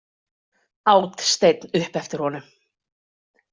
át Steinn upp eftir honum.